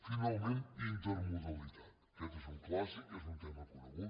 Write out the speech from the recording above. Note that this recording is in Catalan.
finalment intermodalitat aquest és un clàssic és un tema conegut